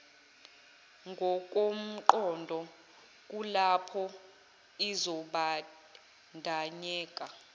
ngokomqondo kulapho izobandanyeka